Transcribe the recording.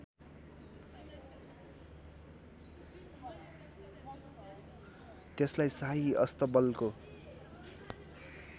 त्यसलाई शाही अस्तबलको